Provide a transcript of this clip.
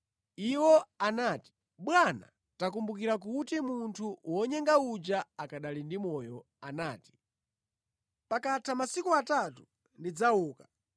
Iwo anati, “Bwana takumbukira kuti munthu wonyenga uja akanali ndi moyo anati, ‘Pakatha masiku atatu ndidzauka.’